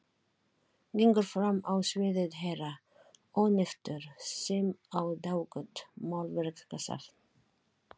Gengur fram á sviðið herra Ónefndur sem á dágott málverkasafn.